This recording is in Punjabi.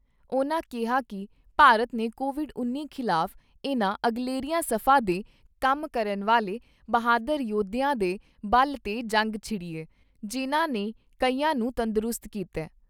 ਉਨ੍ਹਾਂ ਕਿਹਾ ਕਿ ਭਾਰਤ ਨੇ ਕੋਵਿਡ ਉੱਨੀ ਖਿਲਾਫ ਇਨ੍ਹਾਂ ਅਗਲੇਰੀਆਂ ਸਫਾ ਤੇ ਕੰਮ ਕਰਨ ਵਾਲੇ ਬਹਾਦਰ ਯੋਧਿਆਂ ਦੇ ਬਲ ਤੇ ਜੰਗ ਛਿੜੀ ਏ, ਜਿਨ੍ਹਾਂ ਨੇ ਕਈਆਂ ਨੂੰ ਤੰਦਰੁਸਤ ਕੀਤਾ ।